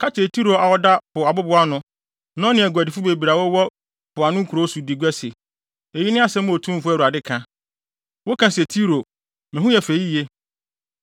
Ka kyerɛ Tiro a ɔda po abobow ano, na ɔne aguadifo bebree a wɔwɔ mpoano nkurow so di gua se, eyi ne asɛm a Otumfo Awurade ka: “ ‘Woka se, Tiro, “Me ho yɛ fɛ yiye.”